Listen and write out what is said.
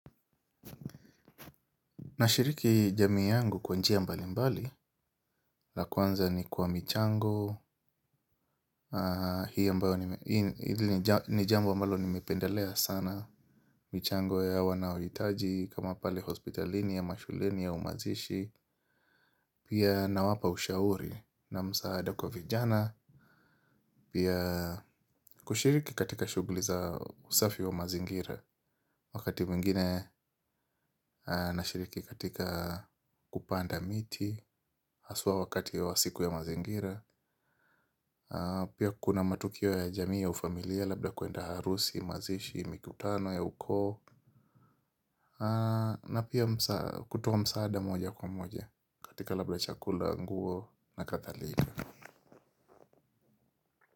Nashiriki jamii yangu kwa njia mbalimbali, la kwanza ni kwa michango, hili ni jambo ambalo nimependelea sana, michango ya wanaohitaji kama pale hospitalini, ama shuleni au mazishi. Pia nawapa ushauri, na msaada kwa vijana. Pia, kushiriki katika shughuli za usafi wa mazingira. Wakati mwingine ninashiriki katika shughuli za kupanda miti. Haswa wakati wa siku ya mazingira. Pia kuna matukio ya jamii ya ufamilia labda kwenda harusi, mazishi, mikutano ya ukoo. Na pia kutoa msaada moja kwa moja, katika labda chakula, nguo, nakadhalika.